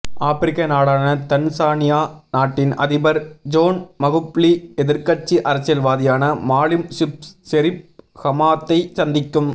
ஆபிரிக்க நாடான தன்சானியா நாட்டின் அதிபர் ஜோன் மகுஃபுலி எதிர்க்கட்சி அரசியல்வாதியான மாலிம் சீஃப் ஷெரீப் ஹமாத்தை சந்திக்கும்